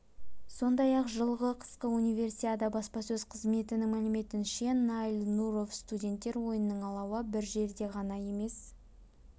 сондай-ақ жылғы қысқы универсиада баспасөз қызметінің мәліметінше наиль нуров студенттер ойынының алауы бір жерде ғана емес